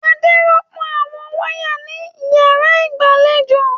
Adé rọ́pò àwọn wáyà ní ìyàrá ìgbàlejò.